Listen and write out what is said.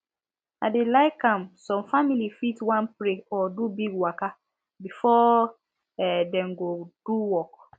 i dey like am some family fit wan pray or do big waka before um dem go do work